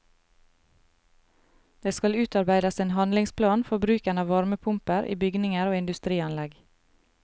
Det skal utarbeides en handlingsplan for bruken av varmepumper i bygninger og industrianlegg.